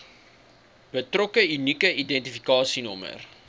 betrokke unieke identifikasienommer